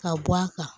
Ka bɔ a kan